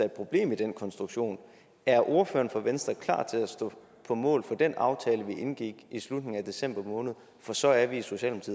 et problem i den konstruktion er ordføreren for venstre klar til at stå på mål for den aftale vi indgik i slutningen af december måned for så er vi